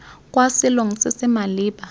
kwa selong se se maleba